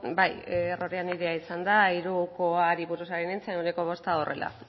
bai errorea nirea izan da hirukoari buruz ari nintzen ehuneko bosta horrela